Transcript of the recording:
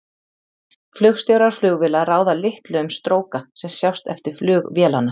Flugstjórar flugvéla ráða litlu um stróka sem sjást eftir flug vélanna.